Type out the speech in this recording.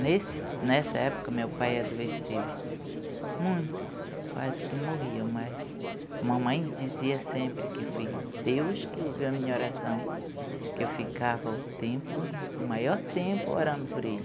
Nessa época, meu pai adoeceu muito, quase que morria, mas mamãe dizia sempre que foi Deus que ouviu a minha oração, que eu ficava o maior tempo orando por ele.